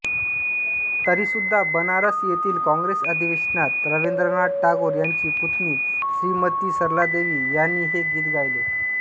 तरीसुद्धा बनारस येथील काँग्रेस अधिवेशनात रवीन्द्रनाथ टागोर यांची पुतणी श्रीमती सरलादेवी यांनी हे गीत गायले